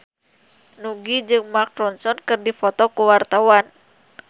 Nugie jeung Mark Ronson keur dipoto ku wartawan